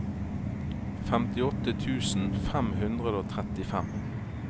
femtiåtte tusen fem hundre og trettifem